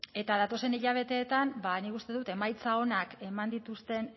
eta datozen hilabeteetan ba nik uste dut emaitza onak eman dituzten